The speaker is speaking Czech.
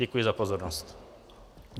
Děkuji za pozornost.